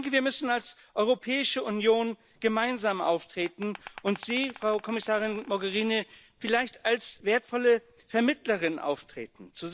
Wir müssen als Europäische Union gemeinsam auftreten und Sie, Frau Kommissarin Mogherini, vielleicht als wertvolle Vermittlerin auftreten.